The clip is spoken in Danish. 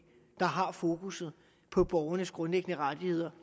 der har fokus på borgernes grundlæggende rettigheder